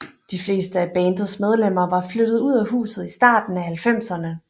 De fleste af bandets medlemmer var flyttet ud af huset i starten af halvfemserne